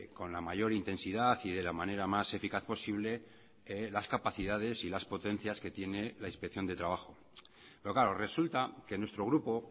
con la mayor intensidad y de la manera más eficaz posible las capacidades y las potencias que tiene la inspección de trabajo pero claro resulta que nuestro grupo